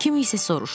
Kimsə soruşdu.